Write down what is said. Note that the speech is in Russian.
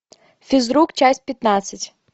физрук часть пятнадцать